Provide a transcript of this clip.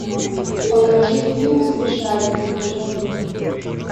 покажи фильм смешарики дежавю